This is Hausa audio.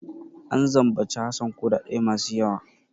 An zambaci Hassan kuɗaɗe masu yawa.